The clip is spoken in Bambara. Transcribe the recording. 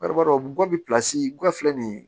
guwa filɛ nin ye